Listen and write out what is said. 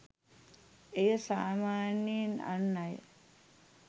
එය සාමාන්‍යයෙන් අන් අය